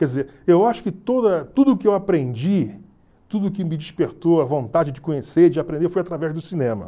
Quer dizer, eu acho que toda tudo que eu aprendi, tudo que me despertou a vontade de conhecer, de aprender, foi através do cinema.